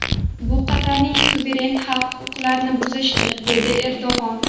Bu Qatarning suveren haq-huquqlarini buzishdir”, dedi Erdo‘g‘on.